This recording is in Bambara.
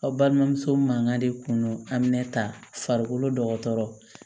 Aw balimamuso mankan de kun don a minɛ ta farikolo dɔ